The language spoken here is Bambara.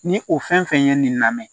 Ni o fɛn fɛn ye nin lamɛn